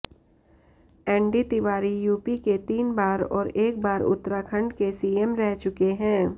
ND Tiwari UP के तीन बार और एक बार उत्तराखंड के सीएम रह चुके हैं